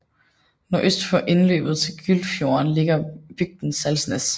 Nordøst for indløbet til Gyltfjorden ligger bygden Salsnes